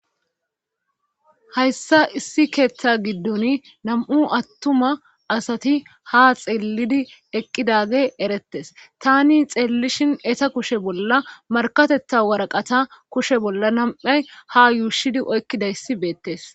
Hayssa issi keeththa giddun nam7u attuma asati ha xeellidi eqqidage erettes tani xeellishin eta kushe bolla markatetha waraqata kushe bolla nam7ay ha yuushidi oykkidayssi beettes